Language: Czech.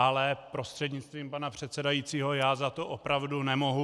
Ale prostřednictvím pana předsedajícího, já za to opravdu nemohu.